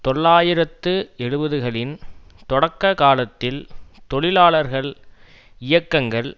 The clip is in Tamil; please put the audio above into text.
தொள்ளாயிரத்து எழுபதுகளின் தொடக்க காலத்தில் தொழிலாளர்கள் இயக்கங்கள்